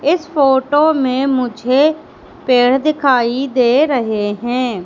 इस फोटो में मुझे पेड़ दिखाई दे रहे हैं।